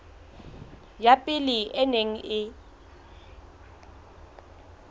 ya pele e neng e